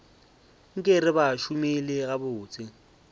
nka re ba šomile gabotse